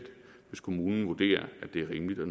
hvis kommunen vurderer at det er rimeligt og